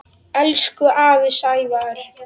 Elsku afi Sævar.